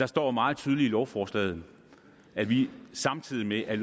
står meget tydeligt i lovforslaget at vi samtidig med at